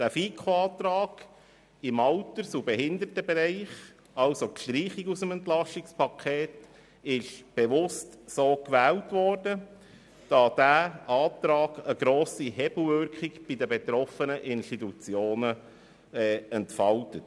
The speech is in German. Der Antrag der FiKo, diese Massnahmen im Alters- und Behindertenbereich zu streichen, wurde bewusst gewählt, weil diese Massnahme eine grosse Hebelwirkung bei den betroffenen Institutionen entfaltet.